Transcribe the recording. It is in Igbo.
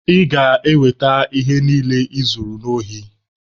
Ị ga-eweta ihe niile I zuru n'ohi.